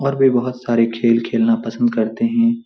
और वो बहुत सारे खेल खेलना पसंद करते हैं।